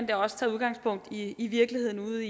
det også tager udgangspunkt i i virkeligheden ude